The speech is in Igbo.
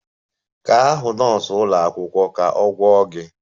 Gaa hụ nọọsụ ụlọ akwụkwọ ka a gwọọ gị!